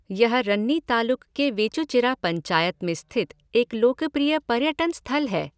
यह रन्नी तालुक के वेचूचिरा पंचायत में स्थित एक लोकप्रिय पर्यटन स्थल है।